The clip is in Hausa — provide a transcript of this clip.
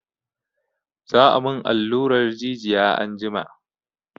Za a mun alluran jijiya anjima.